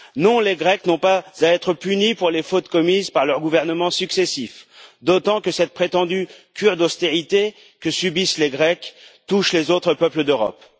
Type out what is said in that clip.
Non, les Grecs n'ont pas à être punis pour les fautes commises par leurs gouvernements successifs, d'autant que cette prétendue cure d'austérité que subissent les Grecs touche les autres peuples d'Europe.